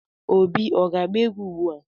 Obi ọ ga-agba egwu ugbua.